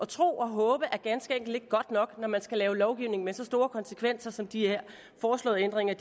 tro og håbe er ganske enkelt ikke godt nok når man skal lovgive med så store konsekvenser som de her foreslåede ændringer